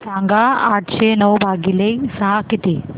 सांगा आठशे नऊ भागीले सहा किती